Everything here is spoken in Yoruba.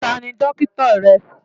Ta ni dókítà rẹ?